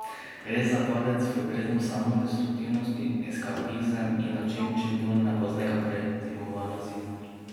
Gre za padec v brezno samodestruktivnosti, eskapizem in način čim bolj neopaznega prezimovanja zime.